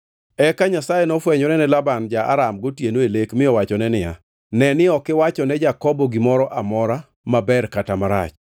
Eka Nyasaye nofwenyore ne Laban ja-Aram gotieno e lek mi owachone niya, “Ne ni ok iwachone Jakobo gimoro amora, maber kata marach.”